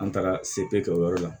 An taara sete kɛ o yɔrɔ la